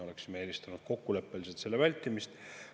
Oleksime eelistanud kokkuleppeliselt selle vältimist.